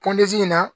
in na